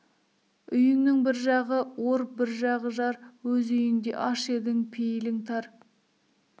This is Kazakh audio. үйіңнің бір жағы ор бір жағы жар өз үйіңде аш едің пейілің тар